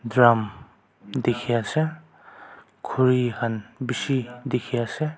Drum dekhey ase khuri khan beshi dekhey ase.